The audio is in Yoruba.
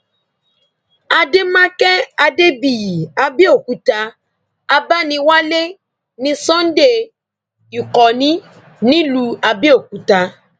àdèmàkè adébíyì àbẹòkúta abániwálé ní sunday ìkọni nílùú àbẹòkúta